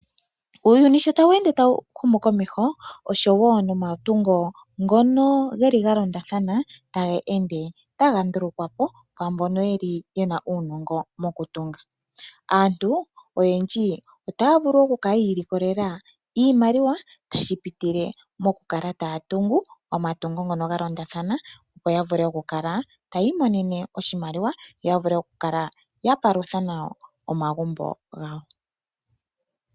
Uuyuni sho taweende tawu humu komeho, osho wo nomatungo ngono ge li ga londathana taga ende taga ndulukwa po kwaambono ye li ye na uunongo mokutunga. Aantu oyendji otaya vulu okukala yi ilikolela iimaliwa, tashi pitile mokukala taya tungu omatungo ngono hlfa londathana, opo ta vule okukala taya imonene oshimaliwa, yo ya vule okukala ya palutha nawa omagumbo gawo.